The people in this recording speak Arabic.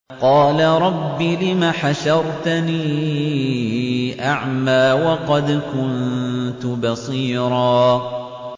قَالَ رَبِّ لِمَ حَشَرْتَنِي أَعْمَىٰ وَقَدْ كُنتُ بَصِيرًا